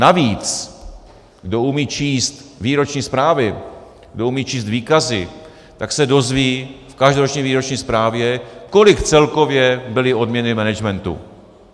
Navíc, kdo umí číst výroční zprávy, kdo umí číst výkazy, tak se dozví v každoroční výroční zprávě, kolik celkově byly odměny managementu.